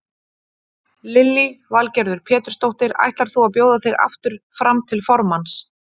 Lillý Valgerður Pétursdóttir: Ætlar þú að bjóða þig aftur fram til formanns?